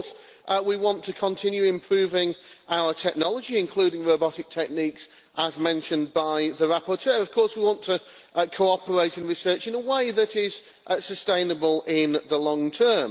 Of course we want to continue improving our technology, including robotic techniques, as mentioned by the rapporteur. Of course we want to cooperate in research in a way that is sustainable in the long term.